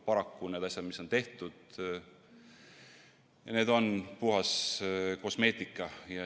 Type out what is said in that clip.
Paraku need asjad, mis on tehtud, on puhas kosmeetika.